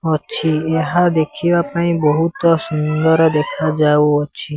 ଅଛି ଏହା ଦେଖିବା ପାଇଁ ବୋହୁତ ସୁନ୍ଦର ଦେଖା ଯାଉଅଛି।